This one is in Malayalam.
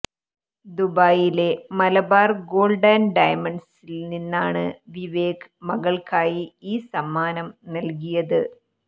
ദുബായിലെ മലബാര് ഗോള്ഡ് ആന്ഡ് ഡയമണ്ട്സില് നിന്നാണ് വിവേക് മകള്ക്കായി ഈ സമ്മാനം നല്കിയത്